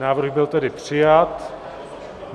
Návrh byl tedy přijat.